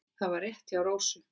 Það var rétt hjá Rósu.